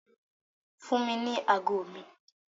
Fún mi ní ago mi!